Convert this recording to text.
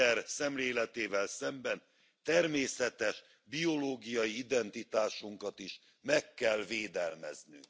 genderszemléletével szemben természetes biológiai identitásunkat is meg kell védelmezni!